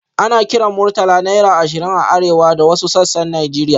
Ana kiran Murtala naira ashirin a arewa da wasu sassan Najeriya.